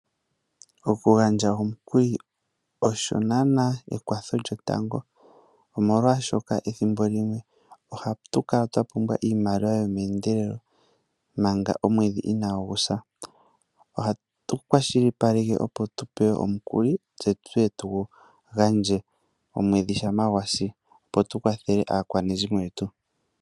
Okugandja olyo naana ekwatho lyotango osho ethimbo limwe ohatu kala twapumbwa iimaliwa yomeendelelo manga omwedhi inagu sa ohatu kwashilipaleke opo tupewe omukuli tse tuye tugu gandje omwedhi shampa gwasi opo tukwathele aakwanezimo yetu.